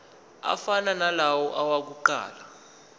afana nalawo awokuqala